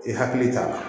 I hakili t'a la